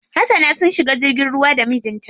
Hasana sun shiga jirgin ruwa da mijin ta.